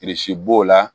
b'o la